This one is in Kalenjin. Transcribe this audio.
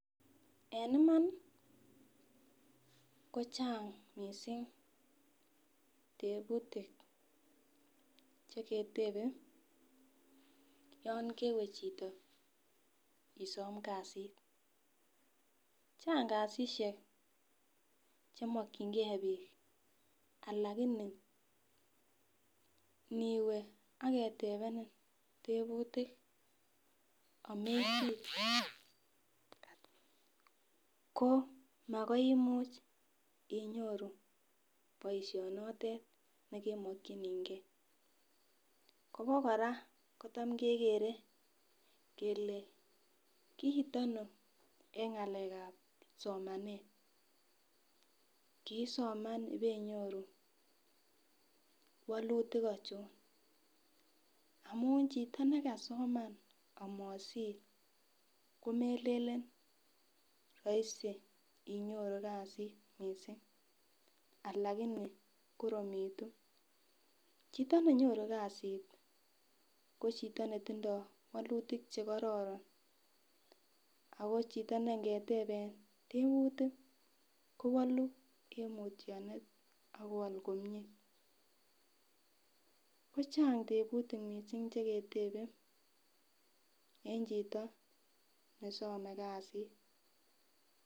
En Iman kocheng missing teputik cheketebe yon kewe chito isome kasit Chang kasishek chemokingee bik lakini niwee ak ketepenin teputik amesir Ko makoi imuch inyoru boishonotwt nekimokingee Kobo koraa kotam kegere kele kit Ono en ngalekab somanet kosoman ibenyoru wolutik ochon, amun chitin nekasoma amosir komelelen roisi inyoru kasit missing lakini Koromitu, chito nenyoru kasitmo chito netindo wolutik chekororon ako chito neingetepen teputik kowolu en mutyonet ak kowol komie, kocheng teputik missing cheketebe en chito nesome kasit.